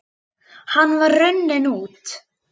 Hann var runninn út